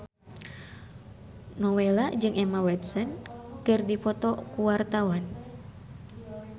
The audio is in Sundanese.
Nowela jeung Emma Watson keur dipoto ku wartawan